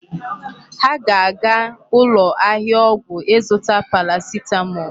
Ha ga-aga ụlọ ahịa ọgwụ ịzụta paracetamol.